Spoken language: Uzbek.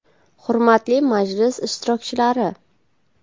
Hurmatli majlis ishtirokchilari!